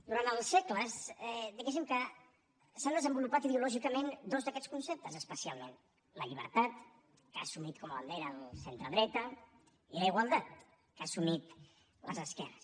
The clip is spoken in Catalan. durant els segles diguem que s’han desenvolupat ideològicament dos d’aquests conceptes especialment la llibertat que ha assumit com a bandera el centredreta i la igualtat que han assumit les esquerres